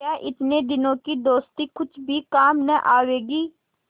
क्या इतने दिनों की दोस्ती कुछ भी काम न आवेगी